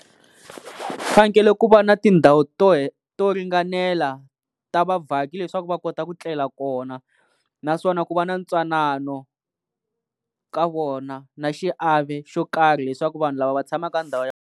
Ku fanekele ku va na tindhawu to to ringanela ta vavhaki leswaku va kota ku tlela kona naswona ku va na ntwanano ka vona na xiave xo karhi leswaku vanhu lava va tshamaka ndhawu ya.